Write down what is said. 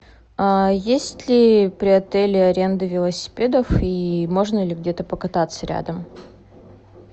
а есть ли при отеле аренда велосипедов и можно ли где то покататься рядом